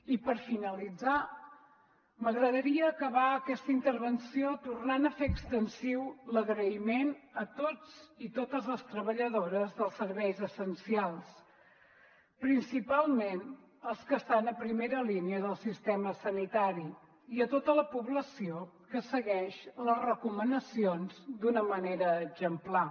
i per finalitzar m’agradaria acabar aquesta intervenció tornant a fer extensiu l’agraïment a tots i totes les treballadores dels serveis essencials principalment als que estan a primera línia del sistema sanitari i a tota la població que segueix les recomanacions d’una manera exemplar